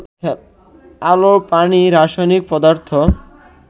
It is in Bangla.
আলো, পানি, রাসায়নিক পদার্থ